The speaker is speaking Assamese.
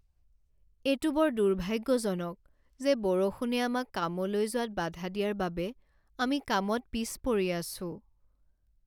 এইটো বৰ দুৰ্ভাগ্যজনক যে বৰষুণে আমাক কামলৈ যোৱাত বাধা দিয়াৰ বাবে আমি কামত পিছপৰি আছোঁ।